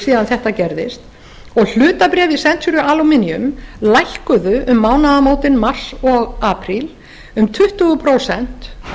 síðan þetta gerðist og hlutabréf í century aluminum lækkuðu um mánaðamótin mars og apríl um tuttugu prósent